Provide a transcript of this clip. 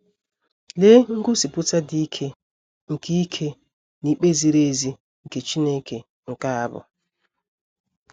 Lee ngosipụta dị ike nke ike na ikpe ziri ezi nke Chineke nke a bụ!